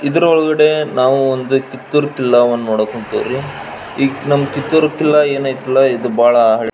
ಇದರ ಒಳಗಡೆ ನಾವು ಒಂದು ಚಿತ್ತೋರ್ ಕಿಲ್ಲಾ ವನ್ನು ನೋಡಕುಂತೀವ್ರಿ ಈ ನಮ್ ಕಿತ್ತೂರು ಕಿಲ್ಲಾ ಎನ್ ಐತಲ್ಲ ಇದು ಬಾಳ ಹಳೆದ್